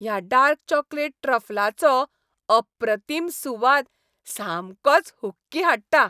ह्या dark chocolate ट्रफलाचो अप्रतीम सुवाद सामकोच हुक्की हाडटा.